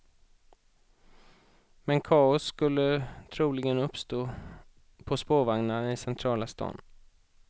Men kaos skulle troligen uppstå på spårvagnarna i centrala stan.